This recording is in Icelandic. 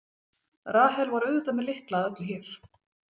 Rahel var auðvitað með lykla að öllu hér.